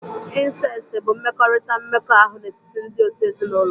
Insesti bụ mmekọrịta mmekọahụ n'etiti ndị òtù ezinụlọ.